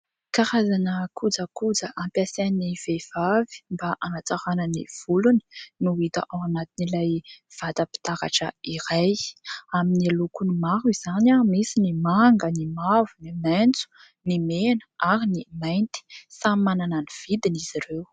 Karazana kojakoja hampiasain'ny vehivavy mba hanatsarana ny volony no hita ao anatin'ilay vatam_pitaratra iray. Amin'ny lokony maro izany : misy ny manga, ny mavo, ny maitso, ny mena ary ny mainty. Samy manana ny vidiny izy ireo.